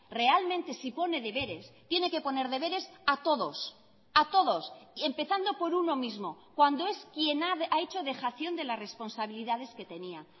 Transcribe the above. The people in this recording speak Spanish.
realmente si pone deberes tiene que poner deberes a todos a todos empezando por uno mismo cuando es quien ha hecho dejación de la responsabilidades que tenía